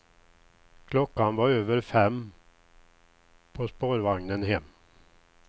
Klockan var över fem på spårvagnen hem.